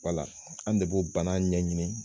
Wala ,an de b'o bana ɲɛ ɲini